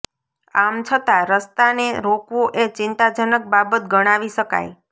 આમ છતાં રસ્તાને રોકવો એ ચિંતાજનક બાબત ગણાવી શકાય